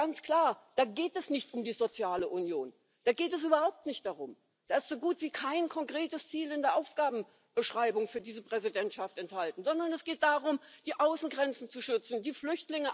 for the birds. People do not have a profound sense of European identity. They have a sense of national identity and in a way that is the great dividing line between your vision of Europe and that increasingly that is being said by the electors. We wish to live in nation states. Now on Brexit,